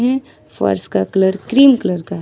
ई फर्स का colour cream colour का है ।